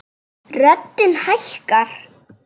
Röddin hækkar.